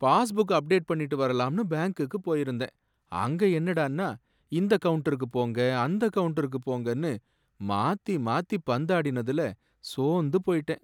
Passbook update பண்ணிட்டு வரலாம்னு பேங்குக்கு போயிருந்தேன். அங்க என்னடான்னா இந்த கவுண்டருக்கு போங்க அந்த கவுண்டருக்கு போங்கன்னு மாத்தி மாத்தி பந்தாடினதுல சோர்ந்து போயிட்டேன்.